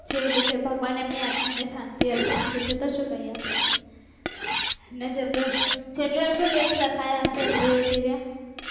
છે એવી રીતે ભગવાન એમની આત્મ ને અર્પે બીજું તો સુ કહીએ ને જેટલા એમનું લેખ લખ્યા હીસે એટલું જીવ્યા